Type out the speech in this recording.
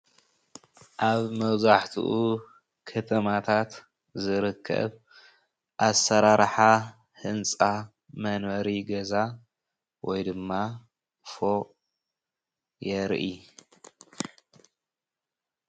ኣብ መብዛሕትኡ ከተማታት ዝርከብ ኣሰራርሓ ህንፃ መንበሪ ገዛ ወይ ድማ ፎቅ የርኢ፡፡